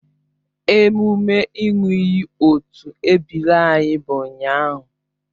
Emume ị ṅụọ iyi otu ebiri anyị bụ ụnyahụ